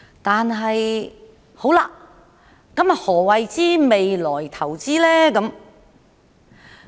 但是，何謂"為未來投資"呢？